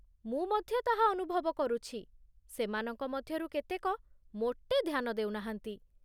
ମୁଁ ମଧ୍ୟ ତାହା ଅନୁଭବ କରୁଛି, ସେମାନଙ୍କ ମଧ୍ୟରୁ କେତେକ ମୋଟେ ଧ୍ୟାନ ଦେଉ ନାହାନ୍ତି।